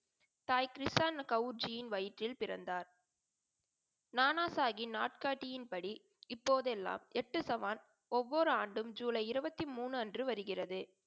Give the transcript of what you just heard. தாய் கிருஷ்ணயகவுசிஹின் வயிற்றில் பிறந்தார். நானாசாஹி நாட்காட்டியின் படி இப்போதெல்லாம் எட்டுசவான் ஒவ்வொரு ஆண்டும் ஜூலை இருபத்தி மூன்று அன்று வருகிறது.